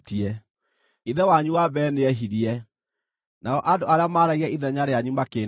Ithe wanyu wa mbere nĩehirie; nao andũ arĩa maaragia ithenya rĩanyu makĩĩnemera.